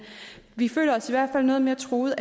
vi føler os i hvert fald noget mere truede